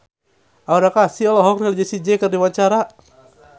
Aura Kasih olohok ningali Jessie J keur diwawancara